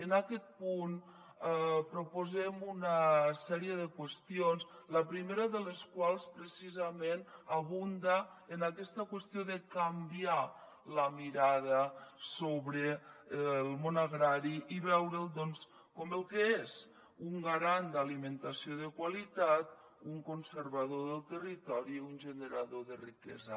en aquest punt proposem una sèrie de qüestions la primera de les quals precisament abunda en aquesta qüestió de canviar la mirada sobre el món agrari i veure’l doncs com el que és un garant d’alimentació de qualitat un conservador del territori i un generador de riquesa